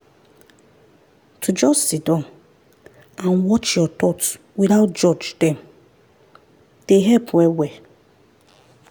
to just siddon and watch your thoughts without judge dem dey help well-well.